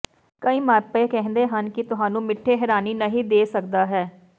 ਕਈ ਮਾਪੇ ਕਹਿੰਦੇ ਹਨ ਕਿ ਤੁਹਾਨੂੰ ਮਿੱਠੇ ਹੈਰਾਨੀ ਨਹੀ ਦੇ ਸਕਦਾ ਹੈ